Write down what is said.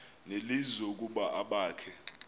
nelizwi ukuba abakhe